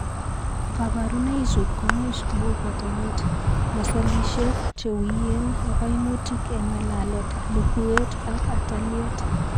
Kabarunoichu ko much ko u botanet, masolishek che wiyen, ak kaimutik eng' ng'alalet, lukuet ak ataliet.